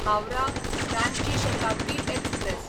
Howrah Ranchi Shatabdi express